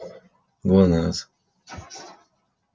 глонассс